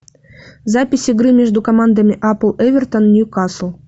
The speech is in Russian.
запись игры между командами апл эвертон ньюкасл